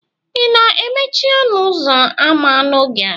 ị na-emechi ọnụ ụzọ ámá n'oge a?